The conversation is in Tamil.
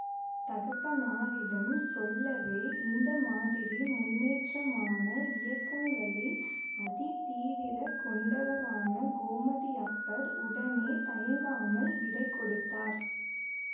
தகப்பனாரிடம் சொல்லவே இந்த மாதிரி முன்னேற்றமான இயக்கங்களில் அதி தீவிர கொண்டவரான கோமதியப்பர் உடனே தயங்காமல் விடை கொடுத்தார்